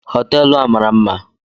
Hootelu a mara mma